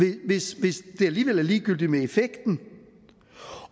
det hvis det alligevel er ligegyldigt med effekten